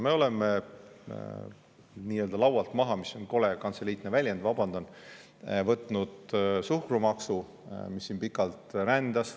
Me oleme nii-öelda laualt maha võtnud – see on kole kantseliitlik väljend, vabandan – suhkrumaksu, mis siin pikalt rändas.